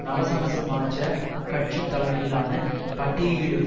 நவசமசமாஜ கட்சி தலைமையிலான பட்டியலிடும்